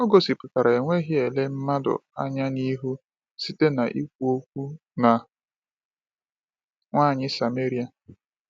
O gosipụtara enweghị ele mmadụ anya n’ihu site n’ikwu okwu na nwanyị Sameria.